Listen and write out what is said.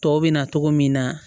Tɔw bɛ na cogo min na